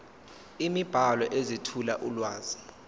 imibhalo ezethula ulwazi